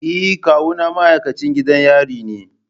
Eh kawuna ma'aikacin gidan yari ne.